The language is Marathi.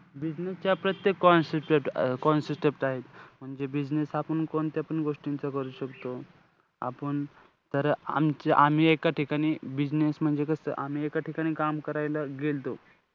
Business च्या प्रत्येक आहेत म्हणजे business हा आपण कोणत्यापण गोष्टींचा करू शकतो. आपुन तर आम~ आम्ही एका ठिकाणी business म्हणजे कसं आम्ही एका ठिकाणी काम करायला गेल्तो.